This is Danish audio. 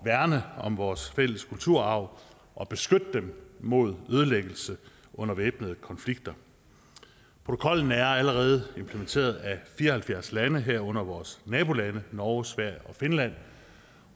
værne om vores fælles kulturarv og beskytte den mod ødelæggelse under væbnede konflikter protokollen er allerede implementeret af fire og halvfjerds lande herunder vores nabolande norge sverige og finland